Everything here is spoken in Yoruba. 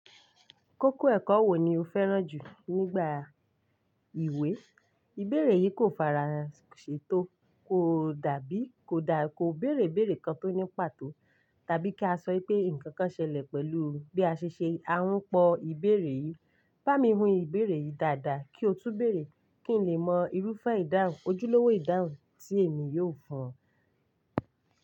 Kókó ẹ̀kọ́ wo ni o fẹ́ràn jù nígbà ìwé? Ìbéèrè yìí kò fara ṣe tó, kò dàbí, kò dá, kò béèrè béèrè kan tó ní pàtó, tàbí kí a sọ pé nǹkan kan ṣẹlẹ̀ pẹ̀lú bí a ṣe ṣe, à ń pọ ìbéèrè yìí. Bá mi hun ìbéèrè yìí dáadáa kí o tu bèèrè, kí n lè mọ irúfẹ́ ìdáhùn, ojúlówó ìdáhùn tí èmi yóò fún ọ.